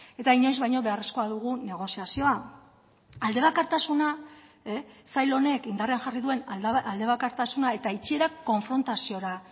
eta inoiz baino beharrezkoa dugu negoziazioa aldebakartasuna sail honek indarrean jarri duen alde bakartasuna eta itzierak konfrontaziora